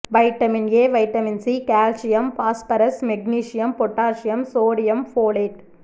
vitamin A vitamin C calcium phosphorus magnesium potassium sodium folate